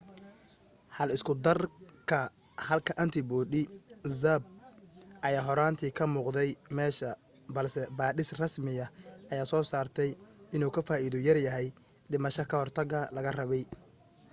hal isku darka halka antibody zmapp ayaa horaantii ka muuqday meesha balse baadhis rasmiya ayaa soo saartay inuu ka faaiido yar yahay dhimasha ka hortaga laga rabay